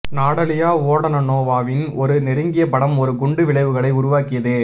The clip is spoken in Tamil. நடாலியா வோடானனோவாவின் ஒரு நெருங்கிய படம் ஒரு குண்டு விளைவுகளை உருவாக்கியது